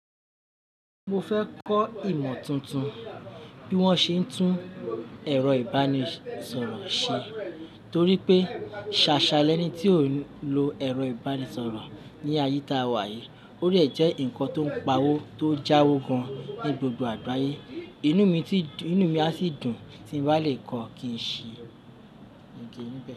Mo fẹ́ kọ́ ìmọ̀ tuntun bí wọ́n ṣe ń tún ẹ̀rọ-ìbánisọ̀rọ̀ ṣe torí pé ṣàṣà lẹ́ni tí ò ń lo ẹ̀rọ-ìbánisọ̀rọ̀ ní àyíká wa yìí. Ó rẹ̀ jẹ́ ǹkan tó ń pa owó tó jáwo gan-an ní gbogbo àgbáyé inu mi ti Inú mi a sì dùn tí mo bá lè kọ́ kì í ṣe ń kí.